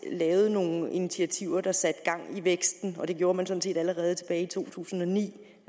nogle initiativer der satte gang i væksten og det gjorde man sådan set allerede tilbage i to tusind og ni